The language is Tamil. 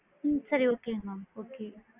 ஹம் சரி okay mam okay